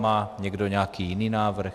Má někdo nějaký jiný návrh?